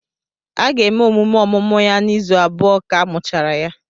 A ga-eme emume ọmụmụ ya na izu abụọ ka amuchara ya